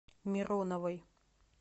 мироновой